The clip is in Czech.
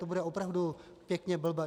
To bude opravdu pěkně blbé.